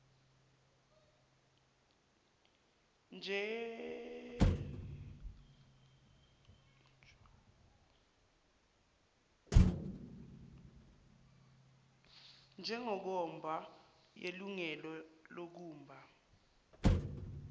njwngwnkomba yelungelo lokumba